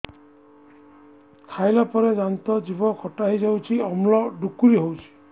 ଖାଇଲା ପରେ ଦାନ୍ତ ଜିଭ ଖଟା ହେଇଯାଉଛି ଅମ୍ଳ ଡ଼ୁକରି ହଉଛି